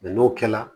n'o kɛla